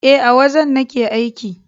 E, a wajen nake aiki.